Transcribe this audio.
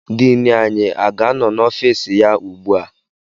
Diini anyị aga-anọ n'ọfịs ya ugbu a?